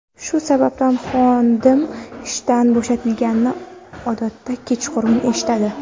Shu sababdan xodim ishdan bo‘shatilganini odatda kechqurun eshitadi.